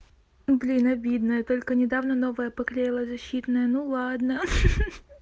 блин обидно я только недавно новое поклеила защитное ну ладно хи-хи